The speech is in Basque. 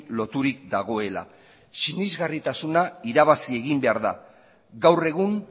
loturik dagoela sinesgarritasuna irabazi egin behar da gaur egun